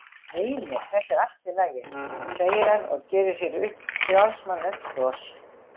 Nei, nei, þetta er allt í lagi, segir hann og gerir sér upp frjálsmannlegt bros.